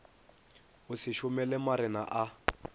o se šomele marena a